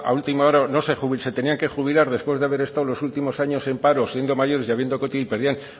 última hora se tenían que jubilar después de haber estado los últimos años en paro siendo mayores